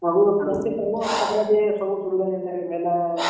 ଆଉ ତାପ୍ ରେ ବି ସବୁସୁବିଧା ଜେନ୍ତା କି ହେଲା।